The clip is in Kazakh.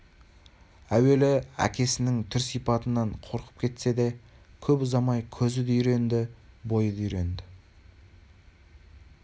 әуелі әкесінің түр-сипатынан қорқып кетсе де кеп ұзамай көзі де үйренді бойы да үйренді